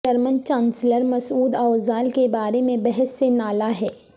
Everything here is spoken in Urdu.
German chancellor Mesut Özil کے بارے میں بحث سے نالاں ہیں